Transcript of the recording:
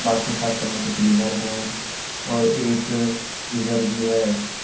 Bathroom साफ करने के लिए क्लीनर भी है और एक फ्रीजर भी है।